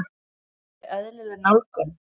Er þetta alveg eðlileg nálgun?